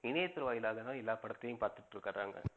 இணையத்துறை வாயிலாகதான் எல்லா படத்தையும் பாத்துட்டு இருக்குறாங்க.